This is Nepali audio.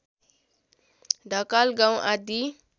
ढकाल गाउँ आदि